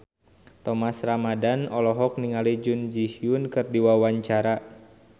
Thomas Ramdhan olohok ningali Jun Ji Hyun keur diwawancara